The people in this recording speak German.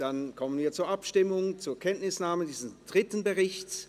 Dann kommen wir zur Abstimmung über die Kenntnisnahme dieses dritten Berichts.